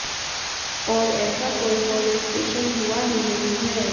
और ऐसा कोई मोलेस्टेशन हुआ ही नही है